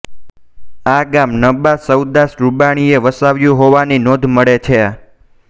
આ ગામ નબા સવદાસ રૂડાણીએ વસાવ્યું હોવાની નોંધ મળે છે